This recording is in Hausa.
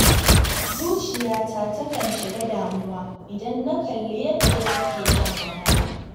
Zuciyata takan shiga damuwa idan na kalli yadda suke shan wahala